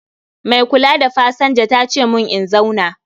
Mai kula da pasanja tace mun in zauna